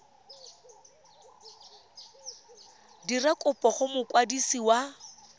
dira kopo go mokwadisi wa